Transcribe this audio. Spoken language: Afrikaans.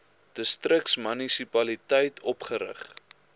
distriks munisipaliteit opgerig